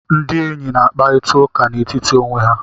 Ndị enyi na-akparịta ụka n'etiti onwe ha.